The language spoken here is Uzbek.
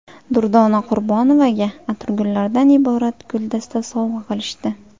Durdona Qurbonovaga atirgullardan iborat guldasta sovg‘a qilishdi.